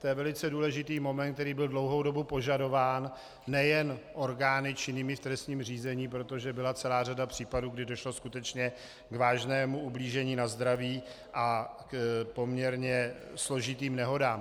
To je velice důležitý moment, který byl dlouhou dobu požadován nejen orgány činnými v trestním řízení, protože byla celá řada případů, kdy došlo skutečně k vážnému ublížení na zdraví a k poměrně složitým nehodám.